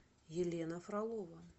елена фролова